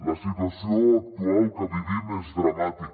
la situació actual que vivim és dramàtica